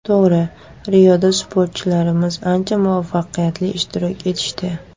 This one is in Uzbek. To‘g‘ri, Rioda sportchilarimiz ancha muvaffaqiyatli ishtirok etishdi.